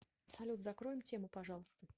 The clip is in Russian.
салют закроем тему пожалуйста